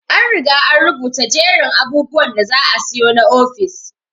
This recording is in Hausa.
An Riga an rubuta jerin abubwan da za asiyo na ofis.